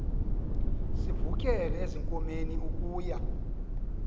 sivukele ezinkomeni ukuya